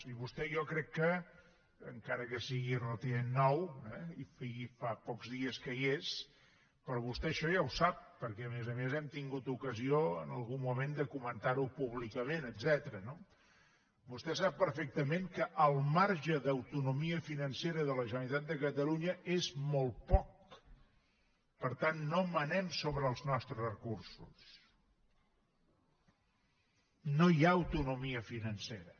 i vostè jo crec que encara que sigui relativament nou eh i faci pocs dies que hi és però vostè això ja ho sap perquè a més a més hem tingut ocasió en algun moment de comentarho públicament etcètera no vostè sap perfectament que el marge d’autonomia financera de la generalitat de catalunya és molt poc per tant no manem sobre els nostres recursos no hi ha autonomia financera